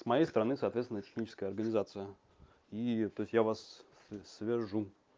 с моей стороны соответственно техническая организация и то есть я вас с свяжу